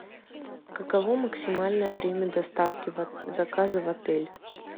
каково максимальное время доставки заказа в отель